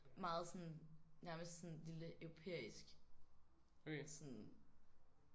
Meget sådan nærmest sådan lille europæisk sådan